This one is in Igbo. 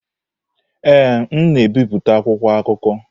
Ee, m na-ebipụta akwụkwọ akụkọ.